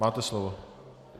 Máte slovo.